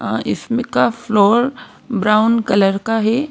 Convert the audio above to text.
अ इसमें का floor brown colour का है।